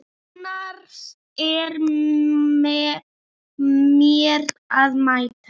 Annars er mér að mæta!